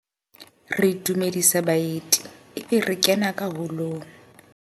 Re dumedisa baeti ebe re kena ka holong.